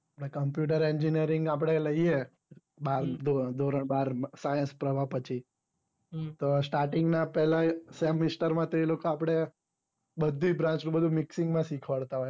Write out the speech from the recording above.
coumputer engineering આપડે લઈએ બાર ધોરણ બાર science પ્રહવાહ પછી તો starting માં પહેલું semester માં તો એ લોકો આપડે બધીજ branch નું બધું mixing માં શીખવાડતા હોય